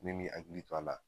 Ne'i m'i hakili to a la